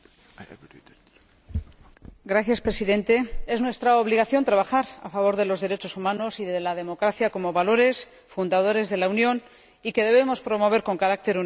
Señor Presidente, es nuestra obligación trabajar a favor de los derechos humanos y de la democracia, como valores fundadores de la Unión que debemos promover con carácter universal.